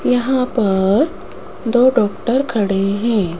यहां पर दो डॉक्टर खड़े हैं।